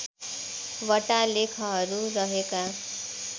वटा लेखहरू रहेका